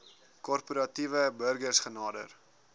korporatiewe burgers genader